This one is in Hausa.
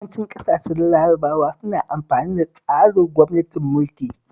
Yawancin ƙasashen Larabawa suna amfani da tsarin gwamnatin mulki